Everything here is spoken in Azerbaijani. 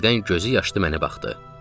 Sonra birdən gözü yaşdı mənə baxdı.